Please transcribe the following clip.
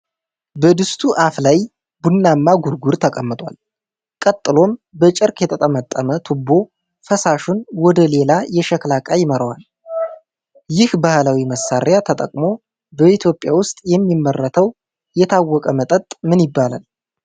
በድስቱ አፍ ላይ ቡናማ ጉርጉር ተቀምጧል፤ ቀጥሎም በጨርቅ የተጠመጠመ ቱቦ ፈሳሹን ወደ ሌላ የሸክላ ዕቃ ይመራዋል። ይህን ባህላዊ መሣሪያ ተጠቅሞ በኢትዮጵያ ውስጥ የሚመረተው የታወቀ መጠጥ ምን ይባላል?